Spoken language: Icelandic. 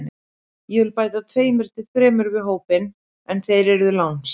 Ég vil bæta tveimur til þremur við hópinn en þeir yrðu lánsmenn.